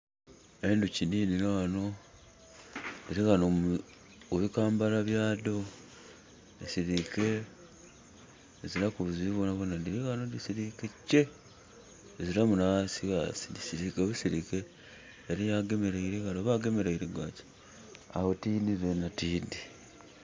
Endhoki dhidhino ghano, dhili ghano mu bikambala byadho. Dhisiliike dhiziraku buzibu bwonabwona. Dhili ghano dhisiliike kye. Dhiziramu na ghasighasi, dhisillike busilike. Eliyo agemeleire ghale oba agemeleire gwaki? Agho tiidhi zenha tiidhi.